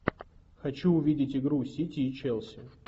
хочу увидеть игру сити и челси